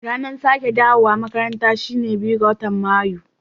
Ranar sake dawowa makaranta shine biyu ga matan mayu.